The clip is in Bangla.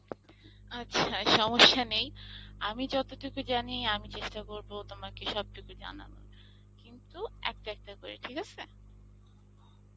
আচ্ছা সমস্যা নেই আমি যতটুকু জানি আমি চেষ্টা করবো তোমাকে সবটুকু জানানোর কিন্তু একটা একটা করে ঠিক আসে